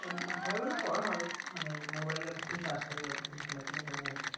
করা হয় মানে mobile এ যতখন charge থাকে ততখন খেলাধুলো করা হয়